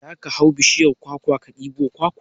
Za ka hau bishiyar kwakwa ka ɗebo kwakwa?